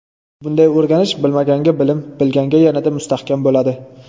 Bunday o‘rganish bilmaganga bilim, bilganga yanada mustahkam bo‘ladi.